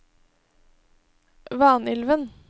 Vanylven